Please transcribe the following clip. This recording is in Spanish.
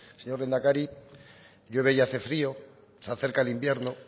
señor lehendakari llueve y hace frío se acerca el invierno